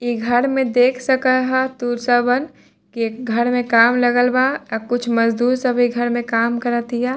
इ घर मे देख सक ह तू सबन ये घर मे काम लगल बा आ कुछ मजदूर सब इ घर मे काम करतिया |